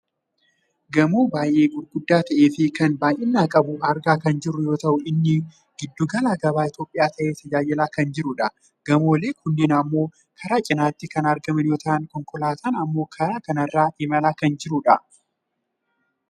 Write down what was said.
gamoo baayyee gurguddaa ta'eefi kan baayyina qabu argaa kan jirru yoo ta'u inni giddu gala gabaa Itoophiyaa ta'ee tajaajilaa kan jirudha. gamooleen kunniin ammoo karaa cinaatti kan argaman yoo ta'an konkolaataan ammoo kara kanarra imala kan jirudha.